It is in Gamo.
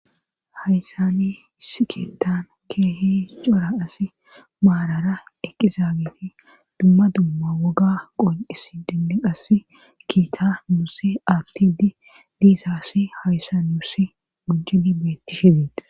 Hayssani issi keettan keehi cora asi maarara eqqizaagiti dumma dumma woga qonis dinne qass kiita musi aftidi diisa asi hayssanuusi mujini beetti shibieta.